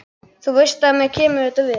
Þú veist að mér kemur þetta við.